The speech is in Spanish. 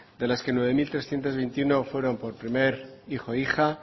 de las que nueve mil trescientos veintiuno fueron por primer hijo o hija